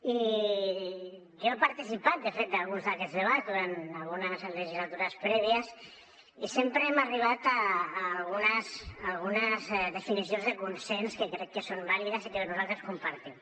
i jo he participat de fet d’alguns d’aquests debats durant algunes legislatures prèvies i sempre hem arribat a algunes definicions de consens que crec que són vàlides i que nosaltres compartim